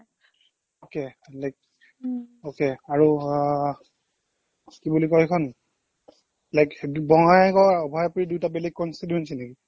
okay like okay আৰু আহ কি বুলি কয় এইখন like বঙাইগাঁও অভয়াপুৰী দুইটা বেলেগ constituency নেকি